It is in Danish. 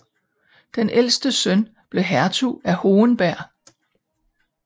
Den ældste søn blev hertug af Hohenberg